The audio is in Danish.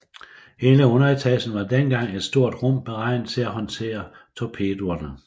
Hele underetagen var dengang et stort rum beregnet til at håndtere torpedoerne